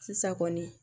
Sisan kɔni